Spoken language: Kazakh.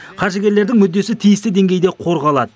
қаржыгерлердің мүддесі тиісті деңгейде қорғалады